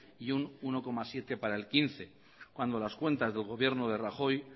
y un uno coma siete para el dos mil quince cuando las cuentas del gobierno de rajoy